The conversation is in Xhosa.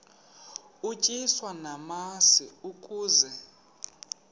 utyiswa namasi ukaze